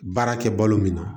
Baara kɛ balo min na